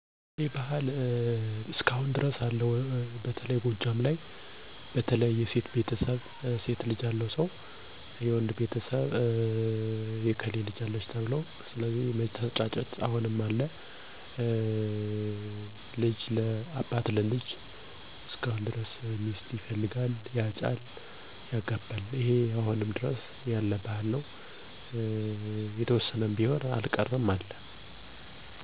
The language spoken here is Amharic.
አንድ ወንድ ወይም ሴት ለ አቅመ አዳም ወይም ለጋብቻ ሲደርሱ ባካባቢው ዘመድ ያልሆነ ቤተሰብ ተመርጦ የከሌ ልጅ አለ/አለች ተብሎ ይጠቆማል። ቀጥሎ ደግሞ ሽማገሌ ይላካል፤ እሽ ከተባለ ውል ለመያዝ ቀን ቀጠሮ ይቀጠራል፤ የዉሉ ቀን ምን ምን ሀብት እነዳለ በሁለቱም ወገን እነዳቅማቸዉ ይመዘገባል በሽማግሌዎች፤ በዉሉ ቀንም እንዳቅማቸው የሰርግ ወይም የቀለበት ቀን ተቆርጦ፣ ከሴቷ ቤት የተዘጋጀውን እህል ውሃ ቀምሰው የሧም የሡም ሽማግሌዎች ይለያያሉ ማለት ነው።